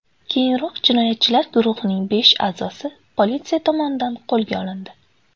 Keyinroq jinoyatchilar guruhining besh a’zosi politsiya tomonidan qo‘lga olindi.